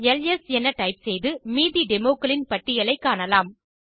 LS என type செய்து மீதி டெமோஸ் க்களின் பட்டியலைக் காணலாம்